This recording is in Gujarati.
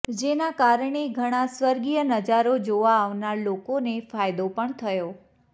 જેના કારણે ઘણા ર્સ્વિગય નજારો જોવા આવનાર લોકોને ફાયદો પણ થયો